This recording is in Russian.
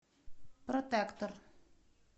протектор